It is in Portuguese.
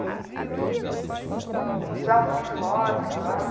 E usava uniforme lá?